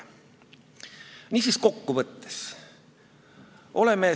Mida siis kokkuvõtteks öelda?